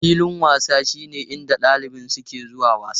Filin wasa shine inda ɗalibai suke zuwa wasa.